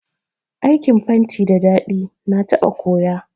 Aikin fenti da daɗi, na taɓa koya